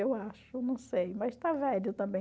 Eu acho, não sei, mas está velho também.